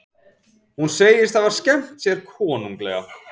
Hún segist hafa skemmt sér konunglega